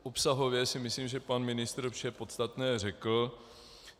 Obsahově si myslím, že pan ministr vše podstatné řekl.